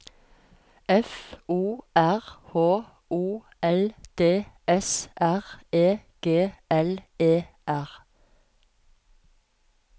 F O R H O L D S R E G L E R